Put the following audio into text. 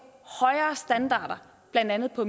højere standarder blandt andet på